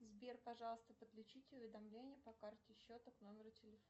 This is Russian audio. сбер пожалуйста подключить уведомление по карте счета к номеру телефона